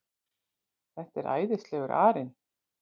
Þetta er æðislegur arinn.